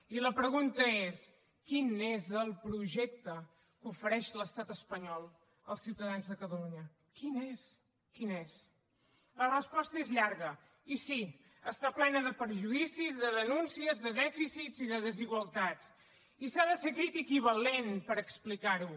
i la pregunta és quin és el projecte que ofereix l’estat espanyol als ciutadans de catalunya quin és quin és la resposta és llarga i sí està plena de perjudicis de denúncies de dèficits i de desigualtats i s’ha de ser crític i valent per explicar ho